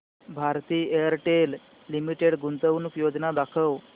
Bharti Airtel limited गुंतवणूक योजना दाखव